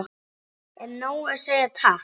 Er nóg að segja takk?